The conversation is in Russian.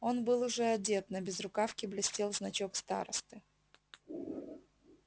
он был уже одет на безрукавке блестел значок старосты